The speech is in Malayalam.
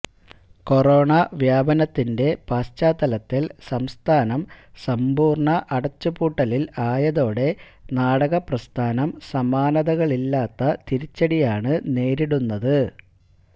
കൊറോണ വ്യാപനത്തിന്റെ പശ്ചാത്തലത്തില് സംസ്ഥാനം സമ്പൂര്ണ അടച്ചുപൂട്ടലില് ആയതോടെ നാടക പ്രസ്ഥാനം സമാനതകളില്ലാത്ത തിരിച്ചടിയാണ് നേരിടുന്നത്